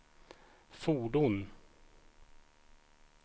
fordon